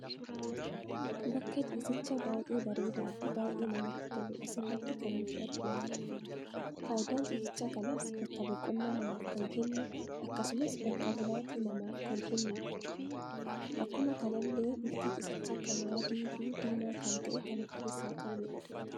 Bakka ciisicha baay'ee bareeda fi baay'ee kan namatti tolu asirratti kan nuti arginudha. Faayidaan ciisicha kanaas, bakka boqonnaa namaf kan kennu, akkasumas, bakka bulaati namaf kan kennudha. Akkuma kanallee bifti ciisicha kana adii fi diima kan ta'e kan of keessa qabudha.